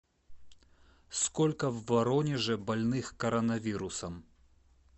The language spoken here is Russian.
сколько в воронеже больных коронавирусом